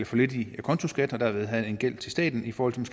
for lidt i acontoskat og derved have en gæld til staten i forhold til